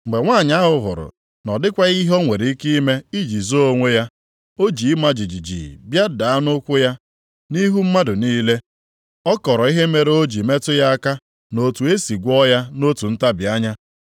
Mgbe nwanyị ahụ hụrụ na ọ dịkwaghị ihe o nwere ike ime iji zoo onwe ya, o ji ịma jijiji bịa daa nʼụkwụ ya. Nʼihu mmadụ niile, ọ kọrọ ihe mere o ji metụ ya aka na otu e sị gwọọ ya nʼotu ntabi anya.